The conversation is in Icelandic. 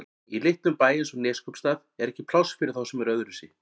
Í litlum bæ eins og Neskaupstað er ekki pláss fyrir þá sem eru öðruvísi.